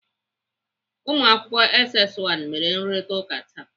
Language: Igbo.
Ụmụakwụkwọ SS 1 mere nrụrịtaụka taa.